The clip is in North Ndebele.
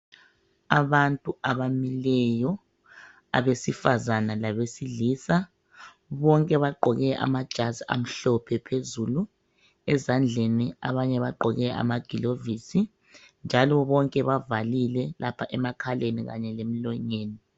Abantu abamileyo. Abesifazana labesilisa, bonke bagqoke amajazi amhlophe phezulu, ezandleni abanye bagqoke amagilovisi, njalo bonke bavalile lapha emakhaleni kanye lemlonyeni.